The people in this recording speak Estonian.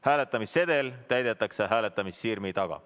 Hääletamissedel täidetakse hääletamissirmi taga.